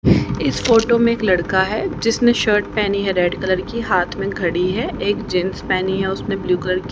इस फोटो में एक लड़का है जिसने शर्ट पहनी है रेड कलर की हाथ में घड़ी है एक जींस पहनी है उसने ब्लू कलर की।